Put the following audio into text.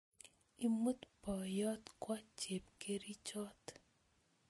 Imut boyot kwo chebkerichot